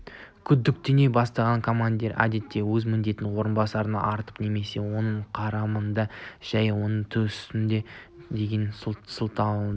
күдіктене бастаған командир әдетте өзінің міндетін орынбасарына артып немесе оның қарамағындағылар жай оны түсінбепті деген сылтаудың